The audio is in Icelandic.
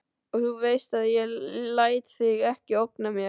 Og þú veist að ég læt þig ekki ógna mér.